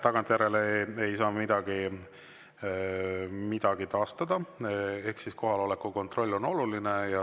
Tagantjärele ei saa midagi taastada ehk siis kohaloleku kontroll on oluline.